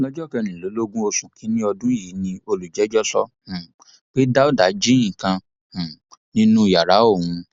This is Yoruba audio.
lọjọ kẹrìnlélógún oṣù kìnínní ọdún yìí ni olùjẹjọ sọ um pé dáúdà jí nǹkan um nínú yàrá òun